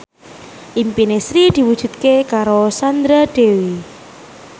impine Sri diwujudke karo Sandra Dewi